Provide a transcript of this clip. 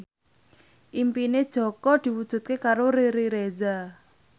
impine Jaka diwujudke karo Riri Reza